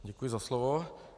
Děkuji za slovo.